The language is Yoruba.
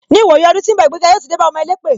Ni ìwòyí ọdún tí ń bọ̀, ìgbéga yóò ti dé bá ọmọ elépè.